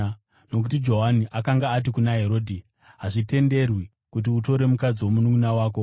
Nokuti Johani akanga ati kuna Herodhi, “Hazvitenderwi kuti utore mukadzi womununʼuna wako.”